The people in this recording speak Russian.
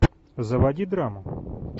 заводи драму